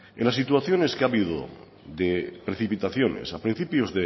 en las situaciones que ha habido de precipitaciones a principios